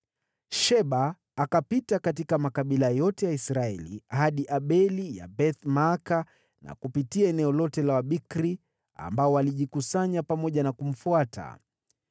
Sheba akapita katika makabila yote ya Israeli hadi Abel-Beth-Maaka na kupitia eneo lote la Waberi ambao walijikusanya pamoja na kumfuata.